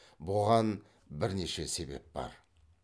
бұған бірнеше себеп бар